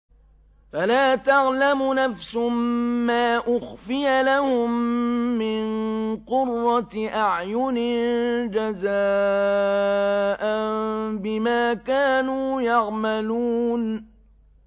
فَلَا تَعْلَمُ نَفْسٌ مَّا أُخْفِيَ لَهُم مِّن قُرَّةِ أَعْيُنٍ جَزَاءً بِمَا كَانُوا يَعْمَلُونَ